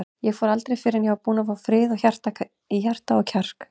Ég fór aldrei fyrr en ég var búinn að fá frið í hjarta og kjark.